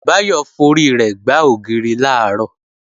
Báyọ̀ forí rẹ̀ gbá ògiri làárọ̀